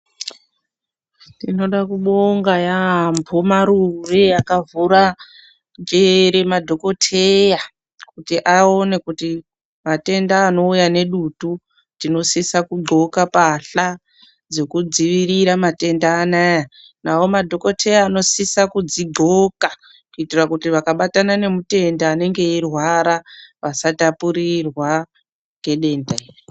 Tinoda kubonga yaamho marure akavhura njere madhokoteya. Kuti aone kuti matenda anouya nedutu tinosiso kudhloka mbatya dzekudzirira matenda anaya. Navo madhokoteya anosisa kudzidhloka, kuitira kuti vakabatana nemutenda anenge eirwara vasatapurirwa ngedenda iri.